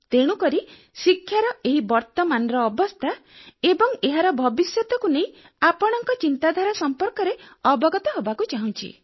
ତେଣୁ ଶିକ୍ଷାର ଏହି ବର୍ତ୍ତମାନର ଅବସ୍ଥା ଏବଂ ଏହାର ଭବିଷ୍ୟତକୁ ନେଇ ଆପଣଙ୍କ ଚିନ୍ତାଧାରା ସମ୍ପର୍କରେ ଅବଗତ ହେବାକୁ ଚାହୁଁଛି